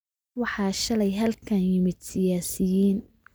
Waxaa shalay halkan yimid siyaasiyiin